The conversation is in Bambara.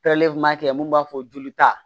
mun b'a fɔ joli ta